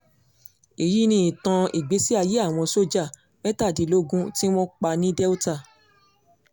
èyí ni ìtàn ìgbésí-ayé àwọn sójà mẹ́tàdínlógún tí wọ́n pa ní delta